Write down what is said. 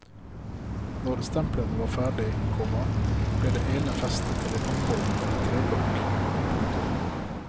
Når stemplene var ferdige, komma ble det ene festet til en ambolt eller en treblokk. punktum